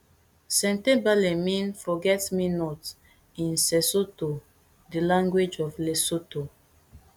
sentebale mean forgetmenot in sesotho di language of lesotho